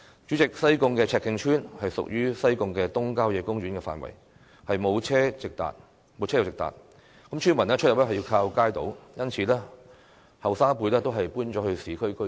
主席，西貢赤徑村屬於西貢東郊野公園的範圍，沒有車路直達，村民出入需要依靠街渡，因此年輕一輩都已搬往市區居住。